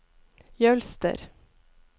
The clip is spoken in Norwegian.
Jølster